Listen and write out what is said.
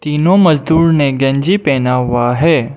तीनों मजदूर ने गंजी पहन हुआ है।